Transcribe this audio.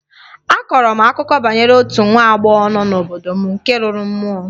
A kọrọ m akụkọ banyere otu nwa agbọghọ nọ n'obodo m nke lụrụ mmụọ